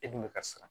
E dun bɛ ka siran